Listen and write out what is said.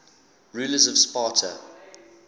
rulers of sparta